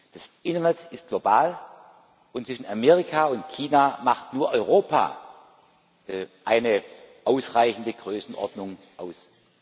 Das Internet ist global, und zwischen Amerika und China macht nur Europa eine ausreichende Größenordnung aus.